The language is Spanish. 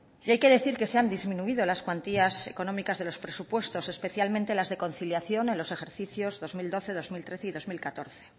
hay que decir que se han disminuido las cuantías económicas de los presupuestos especialmente las de conciliación en los ejercicios dos mil doce dos mil trece y dos mil catorce